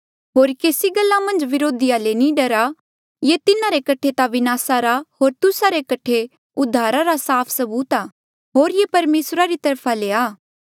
होर केसी गल्ला मन्झ व्रोधिया ले नी डरा ये तिन्हारे कठे ता विनासा रा होर तुस्सा रे कठे उद्धारा रा साफ सबूत आ होर ये परमेसरा री तरफा ले आ